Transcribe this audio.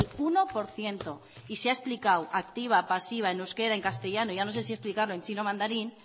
uno por ciento y se ha explicado activa pasiva en euskera en castellano ya no sé si explicarlo en chino mandarín